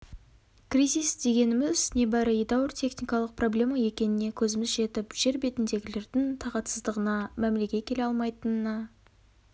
кризис дегеніміз небары едәуір техникалық проблема екеніне көзіміз жетіп жер бетіндегілердің тағатсыздығына мәмлеге келе алмайтынына